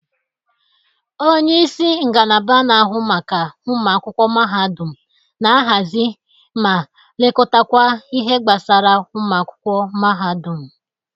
Onyeisi ngalaba na-ahụ maka ụmụakwụkwọ mahadụm na-ahazi ma lekọtakwa ihe gbasara ụmụakwụkwọ mahadụm.